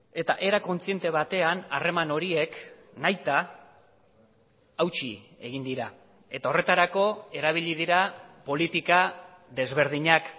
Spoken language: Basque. eta era kontziente batean harreman horiek nahita hautsi egin dira eta horretarako erabili dira politika desberdinak